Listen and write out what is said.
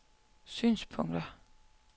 synspunkter